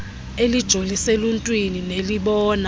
elijolise eluntwini nelibona